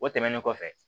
O tɛmɛnen kɔfɛ